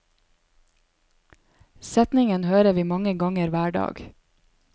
Setningen hører vi mange ganger hver dag.